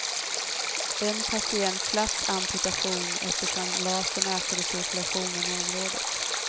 En patient slapp amputation eftersom lasern ökade cirkulationen i området.